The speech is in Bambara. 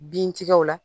Bintigɛw la